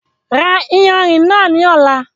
Rá ìyánrín náà lọla!